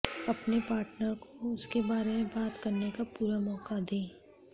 अपने पार्टनर को उसके बारे में बात करने का पूरा मौका दें